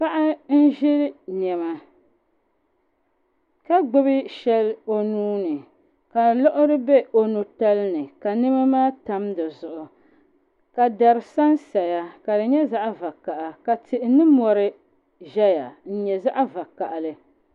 Paɣa n ziri nɛma ka gbubi shɛli o nuuni ka liɣiri bɛ o nu tali ni ka nɛma maa tam si zuɣu ka dari san saya ka si yɛ zaɣi vakaha ka.tihi ni mori zaya n yɛ zaɣi vakahili.